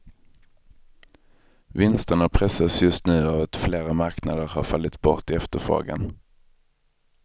Vinsterna pressas just nu av att flera marknader har fallit bort i efterfrågan.